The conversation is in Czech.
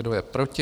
Kdo je proti?